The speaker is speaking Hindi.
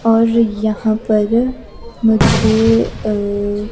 और यहां पर मुझे अ--